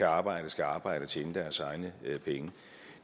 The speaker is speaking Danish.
arbejde skal arbejde og tjene deres egne penge